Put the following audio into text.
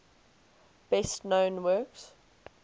best known works